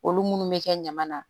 Olu munnu bɛ kɛ ɲaman na